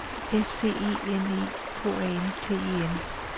S C E N E K A N T E N